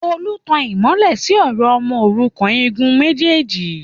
Tolú ń tan ìmọ́lẹ̀ síi ọ̀rọ̀ ọmọ òrukàn igun méjèèjì